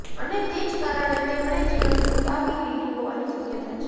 અને તે જ કારણે તેમણે જીવન ટુંકાવી લીધું હોવાની શક્યતા છે